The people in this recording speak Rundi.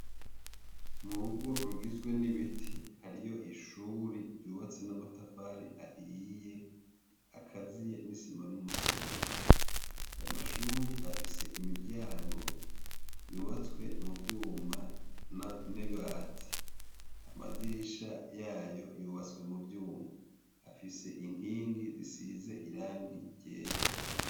Mu rugo rugizwe n'ibiti, hariyo ishuri ryubatse n'amatafari ahiye akaziye n'isima n'umusenyi. Ayo mashuri afise imiryango yubatswe mu vyuma n'ibati. Amadirisha yayo yubatswe mu vyuma, afise inkingi zisize irangi ryera.